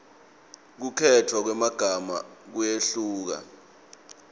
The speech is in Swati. kukhetfwa kwemagama kuyehluka